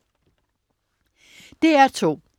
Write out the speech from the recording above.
DR2: